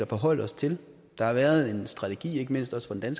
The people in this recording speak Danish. forholder os til der har været en strategi ikke mindst også fra den